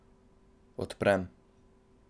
Odprem.